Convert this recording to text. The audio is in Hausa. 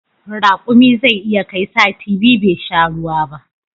Rakumi zai iya kai sati biyu bai sha ruwa ba